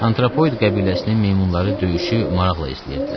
Antropoid qəbiləsinin meymunları döyüşü maraqla izləyirdilər.